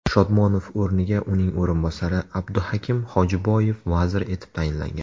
Shodmonov o‘rniga uning o‘rinbosari Abduhakim Xojiboyev vazir etib tayinlangan .